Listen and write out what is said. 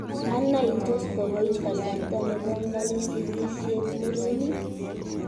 Ana ii toos kokoit kasarta ne bongani sikisiet murenik?